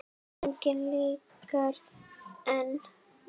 Engu líkara en